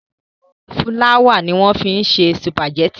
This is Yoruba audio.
Fúláwà ni wọ́n fi ń ṣe sùpàgẹ́tì.